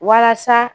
Walasa